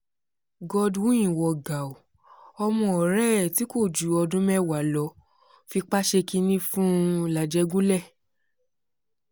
godwin wọ gàù ọmọ ọ̀rẹ́ ẹ̀ tí kò ju ọdún mẹ́wàá lọ fipá ṣe kínní fún làjẹgúnlẹ̀